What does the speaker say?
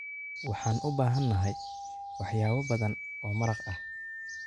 Waxaan u baahanahay waxyaabo badan oo maraq ah.